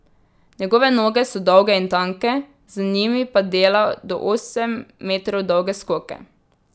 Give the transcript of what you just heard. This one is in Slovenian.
Njegove noge so dolge in tanke, z njimi pa dela do osem metrov dolge skoke.